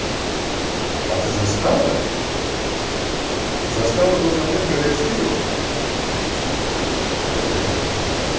а ты застала застала тот момент когда я скидывал вот ведь да